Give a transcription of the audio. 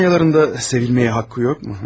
Sanyaların da sevilmeye hakkı yok mu?